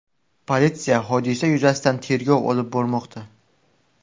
Politsiya hodisa yuzasidan tergov olib bormoqda.